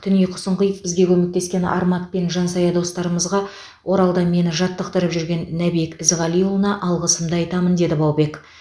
түн ұйқысын қиып бізге көмектескен армат пен жансая достарымызға оралда мені жаттықтырып жүрген нәбек ізғалиұлына алғысымды айтамын деді баубек